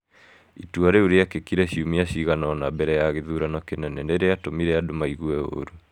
Itua rĩu rĩekĩkire ciumia cigana ũna mbere ya gĩthurano kĩnene, nĩ rĩatũmire andũ maigue ũũru.